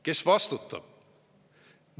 Kes vastutab?